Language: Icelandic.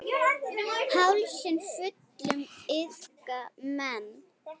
Hálsi fullum iðka menn.